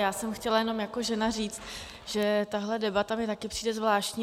Já jsem chtěla jenom jako žena říct, že tahle debata mi taky přijde zvláštní.